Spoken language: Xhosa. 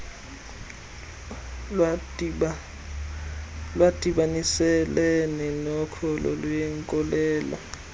lwadibaniselene nokholo lwenkolelo